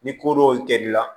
Ni ko dɔ kɛli la